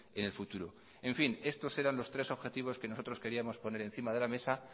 en el futuro en fin estos eran los tres objetivos que nosotros queríamos poner encima de la mesa